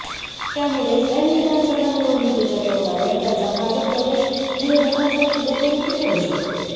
त्यामुळेच ऐन विधानसभा निवडणुकीच्या तोंडावर त्यांचा भाजप प्रवेश विरोधकांसाठी डोकेदुखी ठरू शकते